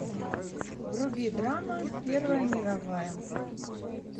вруби драма первая мировая